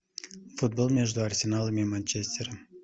футбол между арсеналом и манчестером